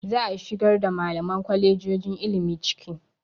Za a shigar da malaman kwalejojon ilimi ciki.